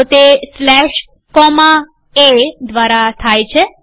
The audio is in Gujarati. તો તે સ્લેશ કોમા એ દ્વારા થાય છે